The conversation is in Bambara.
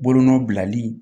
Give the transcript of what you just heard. Bolonɔ bilali